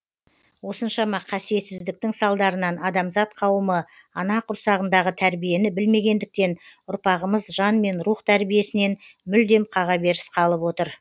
осыншама қасиетсіздіктің салдарынан адамзат қауымы ана құрсағындағы тәрбиені білмегендіктен ұрпағымыз жан мен рух тәрбиесінен мүлдем қағаберіс қалып отыр